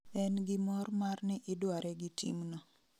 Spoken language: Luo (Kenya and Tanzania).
En gi mor mar ni idware gi team no